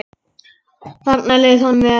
Þarna leið honum vel.